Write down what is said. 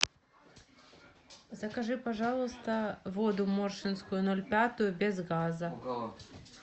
закажи пожалуйста воду моршинскую ноль пятую без газа